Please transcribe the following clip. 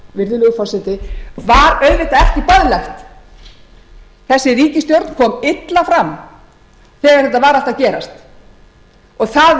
virðulegur forseti var auðvitað ekki boðlegt þessi ríkisstjórn kom illa fram þegar þetta var allt að gerast og það